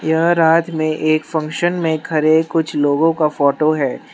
यह रात में एक फंक्शन में खड़े कुछ लोगों का फोटो हैं।